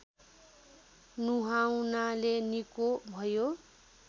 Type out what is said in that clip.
नुहाउनाले निको भयो